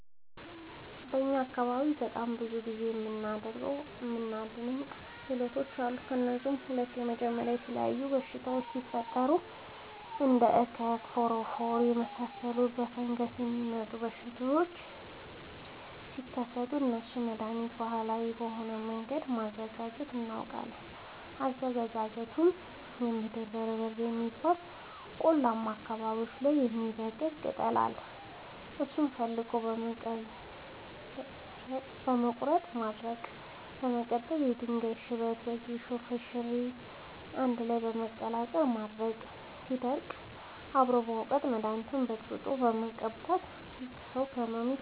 በእኛ አካባቢ በጣም ብዙ እና የሚደናንቅ ክህሎቶች አሉ። ከእነሱም ውስጥ የመጀመሪያው የተለያዩ በሽታወች ሲፈጠሪ እንደ እከክ ፎረፎር የመሳሰሉ በፈንገስ የሚመጡ በሽታዎች ሲከሰቱ ለእነሱ መደሀኒት ባህላዊ በሆነ መንገድ ማዘጋጀት እናውቃለን። አዘገጃጀቱመሸ የምድር በርበሬ የሚባል ቆላማ አካባቢዎች ላይ የሚበቅል ቅጠል አለ እሱን ፈልጎ በመቀለረጥ ማድረቅ በመቀጠልም የድንጋይ ሽበት የጌሾ ፈሸሬ አንድላይ በመቀላቀል ማድረቅ ሲደርቅ አብሮ በመውቀጥ መደኒቱን በጥብጦ በመቀባት ሰው ከህመሙ ይፈወሳል።